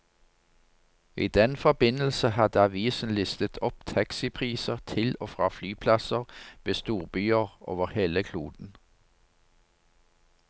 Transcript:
I den forbindelse hadde avisen listet opp taxipriser til og fra flyplasser ved storbyer over hele kloden.